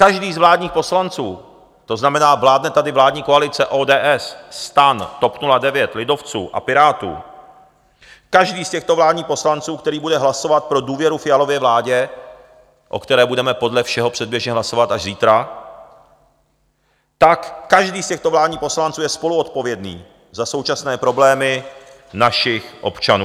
Každý z vládních poslanců, to znamená, vládne tady vládní koalice ODS, STAN, TOP 09, lidovců a Pirátů, každý z těchto vládních poslanců, který bude hlasovat pro důvěru Fialově vládě, o které budeme podle všeho předběžně hlasovat až zítra, tak každý z těchto vládních poslanců je spoluodpovědný za současné problémy našich občanů.